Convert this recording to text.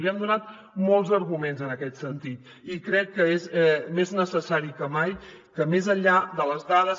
li hem donat molts arguments en aquest sentit i crec que és més necessari que mai que més enllà de les dades